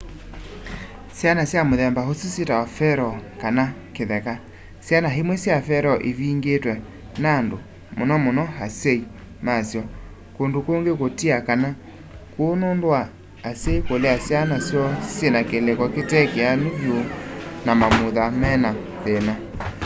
syana sya muthemba usu syitawa feral” kana kitheka. syana imwe sya feral ivingiitwe nandu muno muno asyai masyo ; kundu kungi kutia kana kuu nundu wa asyai kulea syana syoo syina kiliko kitekianu vyu na mamutha mena thina